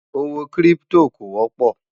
owó kírìpitò kò wópò